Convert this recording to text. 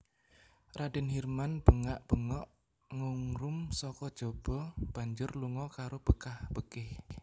Radèn Hirman bengak bengok ngungrum saka jaba banjur lunga karo bekah bekih